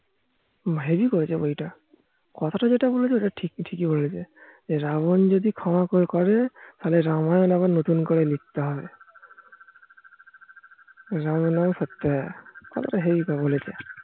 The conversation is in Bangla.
হেব্বি করেছে বই তা কথা তা যেটা বলেছে ওটা ঠিকই বলেছে রাবন যদি ক্ষমা করে তবে রাবনের নামে নতুন করে লিখ তে হবে রাবনের নাম পড়তে হবে কথা তা হেবি বলেছে